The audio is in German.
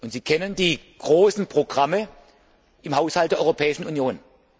Sie kennen die großen Programme im Haushalt der Europäischen Union.